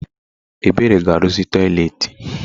Ebere ga arụzi toịletị.